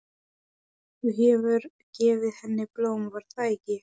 Þú hefur gefið henni blóm, var það ekki?